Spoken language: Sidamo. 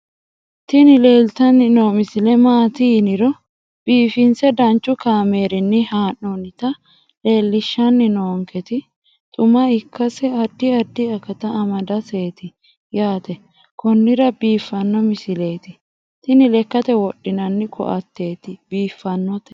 tini leeltanni noo misile maaati yiniro biifinse danchu kaamerinni haa'noonnita leellishshanni nonketi xuma ikkase addi addi akata amadaseeti yaate konnira biiffanno misileeti tini lekkate wodhinanni koatteeti biiffannote